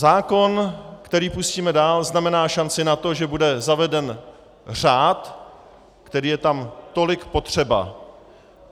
Zákon, který pustíme dál, znamená šanci na to, že bude zaveden řád, který je tam tolik potřeba.